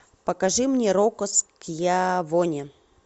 покажи мне рокко скьявоне